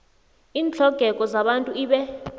iintlhogeko zabantu ibe